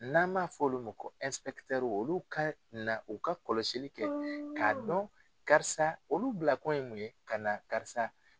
N'an m'a fɔ olu ma ko olu ka na u ka kɔlɔsi kɛ k'a dɔn karisa olu bilakun ye mun ye ka na karisa